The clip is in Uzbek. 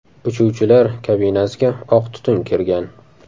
Uchuvchilar kabinasiga oq tutun kirgan.